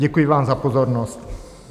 Děkuji vám za pozornost.